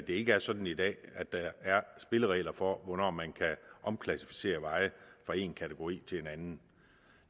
ikke er sådan i dag at der er spilleregler for hvornår man kan omklassificere veje fra en kategori til en anden